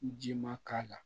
Ji ma k'a la